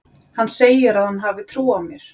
Hann segir að hann hafi trú á mér.